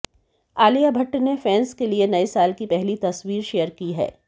आलिया भट्ट ने फैन्स के लिए नए साल की पहली तस्वीर शेयर की है